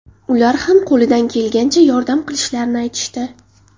Ular ham qo‘lidan kelgancha yordam qilishlarini aytishdi.